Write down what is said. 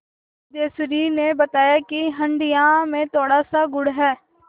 सिद्धेश्वरी ने बताया कि हंडिया में थोड़ासा गुड़ है